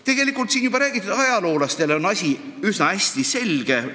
Tegelikult on ajaloolastele asi üsna hästi selge.